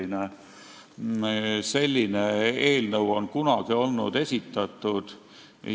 Ka selline eelnõu on kunagi esitatud.